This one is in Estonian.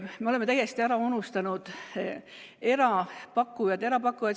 Me oleme täiesti ära unustanud erapakkujad.